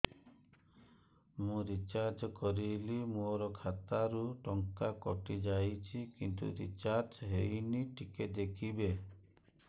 ମୁ ରିଚାର୍ଜ କରିଲି ମୋର ଖାତା ରୁ ଟଙ୍କା କଟି ଯାଇଛି କିନ୍ତୁ ରିଚାର୍ଜ ହେଇନି ଟିକେ କହିବେ